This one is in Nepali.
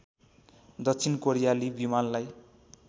दक्षिण कोरियाली विमानलाई